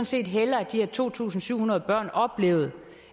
set hellere at de her to tusind syv hundrede børn oplevede